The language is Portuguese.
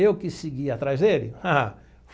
Eu que segui atrás dele? Ah.